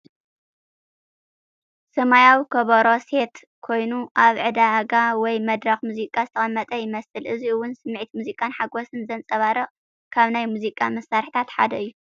ሰማያዊ ከበሮ ሴት ኮይኑ፡ ኣብ ዕዳጋ ወይ መድረኽ ሙዚቃ ዝተቐመጠ ይመስል። እዚ ውን ስምዒት ሙዚቃን ሓጎስን ዘንጸባርቕ ካብ ናይ ሙዚቃ መሳርሕታት ሓደ እዩ።